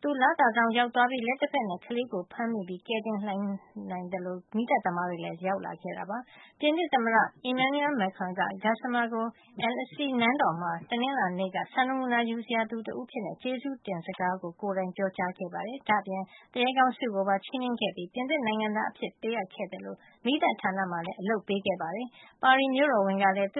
Gassama လသာဆောင်ကို ရောက်သွားပြီး လက်တဖက်နဲ့ ကလေးကိုဖမ်းမိပြီး ကယ်လိုက်နိုင်သလို မီးသတ်သမားတွေလည်း ရောက်လာ ခဲ့တာပါ။ ပြင်သစ်သမ္မတ Emmanuel Macron က Gassama ကို Elysee နန်းတော်မှာ တနင်္လာနေ့က စံနမူနာ ယူစရာသူတဦးအဖြစ်နဲ့ ကျေးဇူးတင် စကား ကိုယ်တိုင်ပြောကြားခဲ့ပါတယ်။ ဒါ့အပြင် သူရဲကောင်းဆု ကိုပါ ချီးမြှင့်ခဲ့ပြီး ပြင်သစ်နိုင်ငံသားအဖြစ် ပေးအပ်ခဲ့သလို မီးသတ်ဌာန မှာလည်း အလုပ်ပေးခဲ့ပါတယ်။ ပါရီမြို့တော်ဝန် Anne Hidalgo ကလည်း သူ့